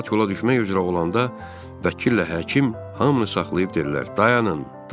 Camaat yola düşmək üzrə olanda, vəkillə həkim hamını saxlayıb dedilər: Dayanın, dayanın!